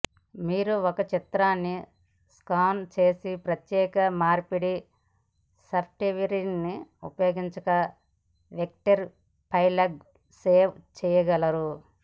మీరు ఒక చిత్రాన్ని స్కాన్ చేసి ప్రత్యేక మార్పిడి సాఫ్ట్వేర్ని ఉపయోగించకుండా వెక్టర్ ఫైల్గా సేవ్ చేయలేరు